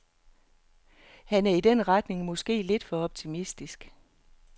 Han er i den retning måske lidt for optimistisk.